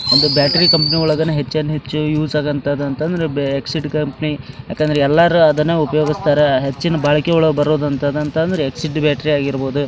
ಒಂದು battery company . ಒಳಗ್ ಹೆಚ್ಚಾನ್ ಹೆಚ್ಚು ಯೂಸ್ ಆಗೂದಂತ್ ಅಂತ ಅಂದ್ರೆ ಎಕ್ಸಿಡ್ ಕಂಪನಿ ಯಾಕಂದ್ರ ಎಲ್ಲಾರ್ ಅದನ್ನೇ ಉಪಯೋಗಸ್ತರ್ ಹೆಚ್ಚಿನ್ ಬಾಳಕಿ ಒಳಗ್ ಬರೋದಂತ ಅಂದ್ರೆ ಎಕ್ಸಿಡ್ ಬ್ಯಾಟ್ರಿ ಆಗಿರ್ಬಹುದು.